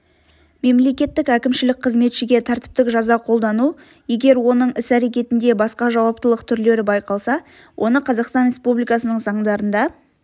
мемлекеттік әкімшілік қызметшіге тәртіптік жаза қолдану егер оның іс-әрекетінде басқа жауаптылық түрлері байқалса оны қазақстан республикасының заңдарында